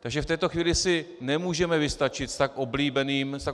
Takže v této chvíli si nemůžeme vystačit s tak